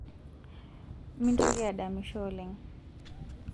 mintoki adamisho oleng